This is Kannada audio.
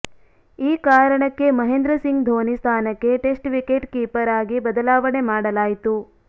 ಈ ಕಾರಣಕ್ಕೆ ಮಹೇಂದ್ರಸಿಂಗ್ ಧೋನಿ ಸ್ಥಾನಕ್ಕೆ ಟೆಸ್ಟ್ ವಿಕೆಟ್ ಕೀಪರ್ ಆಗಿ ಬದಲಾವಣೆ ಮಾಡಲಾಯಿತು